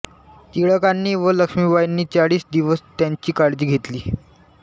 टिळकांनी व लक्ष्मीबाईंनी चाळीस दिवस त्यांची काळजी घेतली